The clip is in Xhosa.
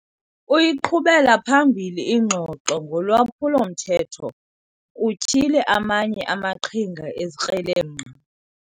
Uyiqhubela phambili ingxoxo ngolwaphulo-mthetho kutyhile amanye amaqhinga ezikrelemnqa.